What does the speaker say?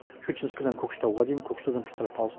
шучинскіден көкшетауға дейін көкшетаудан петропавловск